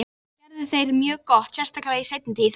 Trúlega gerðu þeir það mjög gott, sérstaklega í seinni tíð.